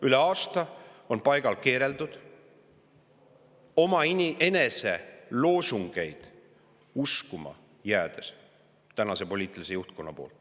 Üle aasta on tänane poliitiline juhtkond paigal keerelnud omaenese loosungeid uskuma jäädes.